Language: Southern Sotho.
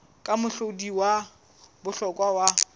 ke mohlodi wa bohlokwa wa